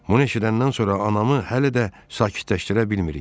Bunu eşidəndən sonra anamı hələ də sakitləşdirə bilmirik.